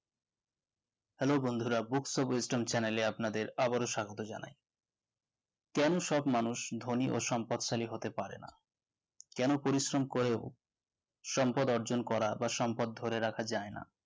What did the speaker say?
Hello বন্ধুরা books of western channel আপনাদের আবার ও স্বাগত জানাই কেন সব মানুষ ধোনি ও সম্পদশালী হতে পারে না কেন পরিশম করেও সম্পদ অর্জন করা বা সম্পদ ধরে রাখা যাই না